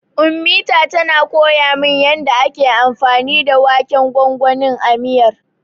Ummita tana koya min yanda ake anfani da waken gwangwanin a miyar.